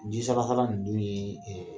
ninnu ye ɛɛ